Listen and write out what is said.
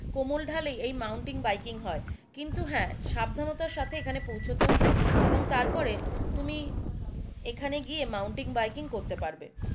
কোমল ধালেই এই mountain biking হয় কিন্তু হ্যাঁ সাবধানতার সাথে এখানে পৌঁছতে হবে এবং তারপরে তুমি এখানে গিয়ে তুমি মাউন্টেন বাইকিং করতে পারবে,